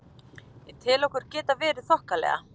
Ég tel okkur geta verið þokkalega.